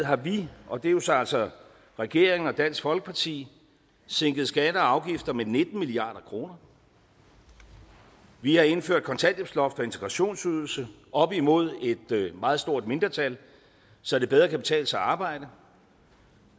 har vi og det er så altså regeringen og dansk folkeparti sænket skatter og afgifter med nitten milliard kroner vi har indført kontanthjælpsloft og integrationsydelse op imod et meget stort mindretal så det bedre kan betale sig at arbejde